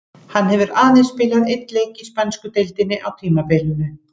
Hann hefur aðeins spilað einn leik í spænsku deildinni á tímabilinu.